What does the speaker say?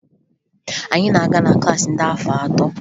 Anyị na-aga na klaasị ndị afọ atọ